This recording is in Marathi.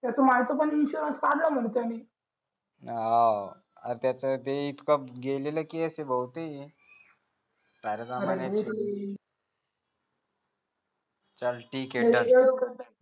त्याचं मायचा पण विषय काढला मग त्यांनी हौ अ त्याचं ते इतक गेलेलं केस आहे भाऊ ते चाल ठीक आहे चाल